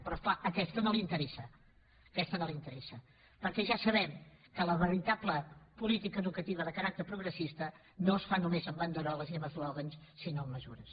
però és clar aquesta no li interessa aquesta no li interessa perquè ja sabem que la veritable política educativa de caràcter progressista no es fa només amb banderoles i amb eslògans sinó amb mesures